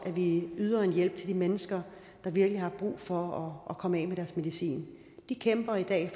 ville yde en hjælp til de mennesker der virkelig har brug for at komme af med deres medicin de kæmper i dag